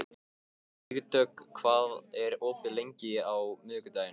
Vígdögg, hvað er opið lengi á miðvikudaginn?